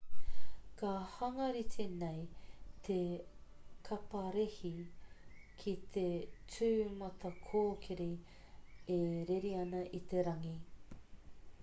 ka hanga rite nei te kaparehe ki te tūmatakōkiri e rere ana i te rangi